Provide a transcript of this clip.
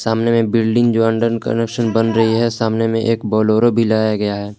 सामने में building under construction बन रही है सामने में एक बोलोरो भी लाया गया है।